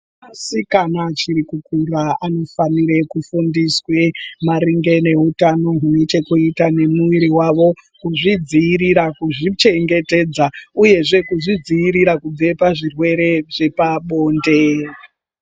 Asikana achiri kukura anofanire kufundiswa maringe neutano hune chekuita nemuviri wavo, kuzvidziirira, kuzvichengetedza uyezve kuzvidziirira kubve pazvirwere zvepabonde.